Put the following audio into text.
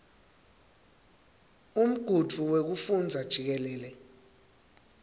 umgudvu wekufundza jikelele